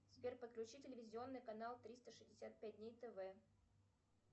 сбер подключи телевизионный канал триста шестьдесят пять дней тв